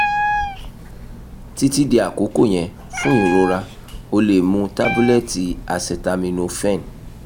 titi di akoko yẹn fun irora o le mu tabulẹti acetaminophen